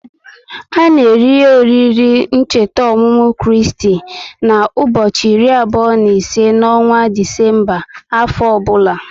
A na eri oriri ncheta ọmụmụ Kristi na ubochi iri abụo n'ise n'ọnwa Disemba afọ ọbula